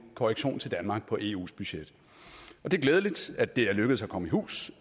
korrektion til danmark på eus budget det er glædeligt at det er lykkedes at komme i hus